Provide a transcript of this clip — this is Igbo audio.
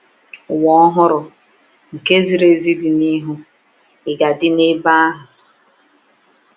Ụwa ọhụrụ nke ziri ezi dị n’ihu — ị ga-adị n'ebe ahụ?